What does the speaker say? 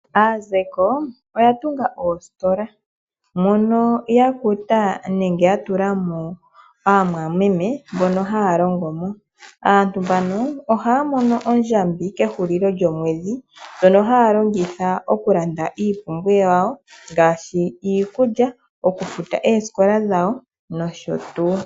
Aazeko oyatunga oositola mono yakutilamo aamwameme mbono haalongomo nohaafutwa ondjambi kehulilo lyomwedhi, ndjono haalongitha okulanda iipumbiwa yawo ngashi iikulya, okufuta oosikola nosho tuu.